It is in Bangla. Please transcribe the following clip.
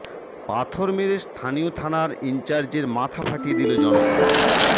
পাথর মেরে স্থানীয় থানার ইনচার্জের মাথা ফাটিয়ে দিল জনতা